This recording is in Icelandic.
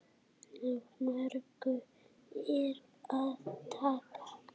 Af mörgu er að taka.